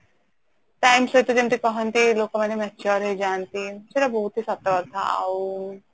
time ସହିତ ଲୋକ ମାନେ ଯେମିତି କହନ୍ତି mature ହେଇଯାନ୍ତି ସେଇଟା ବହୁତ ହି ସତ କଥା ଆଉ